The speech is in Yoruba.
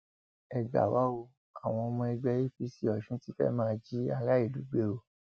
ẹ gbà wá o àwọn ọmọ ẹgbẹ apc ọsùn ti fẹẹ máa jí aráàlú gbé o